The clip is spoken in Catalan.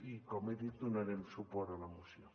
i com he dit donarem suport a la moció